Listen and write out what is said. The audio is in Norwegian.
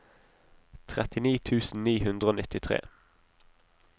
trettini tusen ni hundre og nittitre